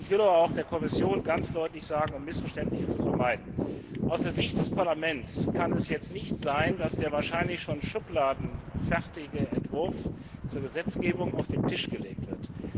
Ich will der Kommission aber auch Folgendes ganz deutlich sagen, um Missverständnisse zu vermeiden Aus der Sicht des Parlaments kann es nicht sein, dass der wahrscheinlich schon schubladenfertige Entwurf zur Gesetzgebung auf den Tisch gelegt wird.